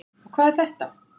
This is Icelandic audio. Og hvað er þetta?